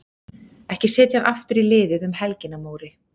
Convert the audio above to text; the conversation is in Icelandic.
Ekki setja hann aftur í liðið um helgina Móri.